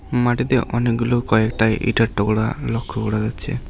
মাটিতে অনেকগুলো কয়েকটা ইঁটের টুকরা লক্ষ্য করে যাচ্ছে।